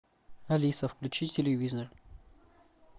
алиса включи телевизор